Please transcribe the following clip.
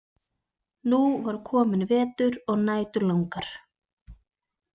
Nú var kominn vetur og nætur langar.